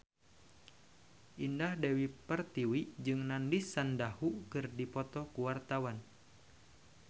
Indah Dewi Pertiwi jeung Nandish Sandhu keur dipoto ku wartawan